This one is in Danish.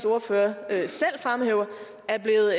ordfører selv fremhæver